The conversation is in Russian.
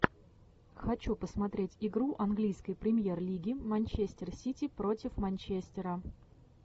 хочу посмотреть игру английской премьер лиги манчестер сити против манчестера